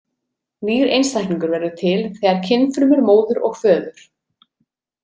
Nýr einstaklingur verður til þegar kynfrumur móður og föður.